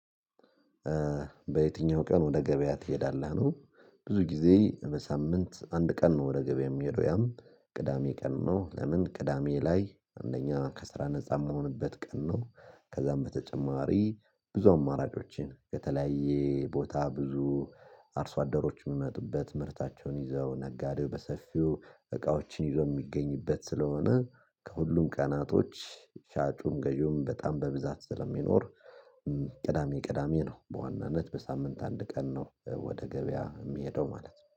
በየትኛው ቀን ወደ ገበያ ትሄዳለህ ነው? ብዙ ጊዜ በሳምንት አንድ ቀን ነው ወደ ገበያ ሚሄደው ያም ቅዳሜ ቀን ነው። ለምን ቅዳሜ ላይ አንደኛ ከስራ ነፃ የምሆንበት ቀን ነው። ከዛም በተጨማሪ ብዙ አማራጮችን ከተለያየ ቦታ ብዙ አርሶ አደሮችን ሚመጡበት ምርታቸውን ይዘው ነጋዴው በሰፊው እቃዎችን ይዘው የሚገኝበት ስለሆነ ከሁሉም ቀናቶች ሻጩም ገዢውም በጣም በብዛት ስለሚኖር። ቅዳሜ ቅዳሜ ነው በዋናነት በሳምንት አንድ ቀን ነው ወደ ገበያ ሚሄደው ማለት ነው